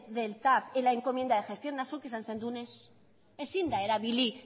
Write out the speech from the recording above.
del tav en la encomienda de gestión eta zuk esan zenuen ez ezin da erabili